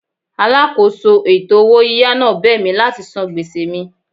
Alákòóso ètò owó yíyá náà bẹ̀ mí láti san gbèsè mi.